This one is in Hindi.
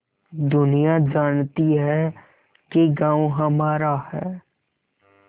दुनिया जानती है कि गॉँव हमारा है